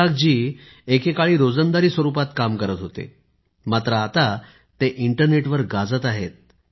ईसाक जी एकेकाळी रोजंदारी स्वरुपात काम करत होते मात्र आता ते इंटरनेटवर गाजत आहेत